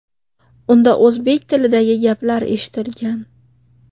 Unda o‘zbek tilidagi gaplar eshitilgan.